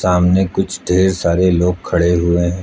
सामने कुछ ढेर सारे लोग खड़े हुए हैं।